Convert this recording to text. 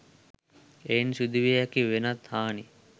එයින් සිදුවිය හැකි වෙනත් හානි